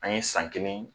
An ye san kelen